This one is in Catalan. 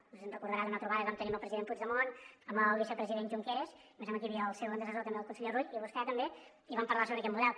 no sé si es deu recordar d’una trobada que vam tenir amb el president puigdemont amb el vicepresident junqueras me sembla que hi havia el seu antecessor també el conseller rull i vostè també i hi vam parlar sobre aquest model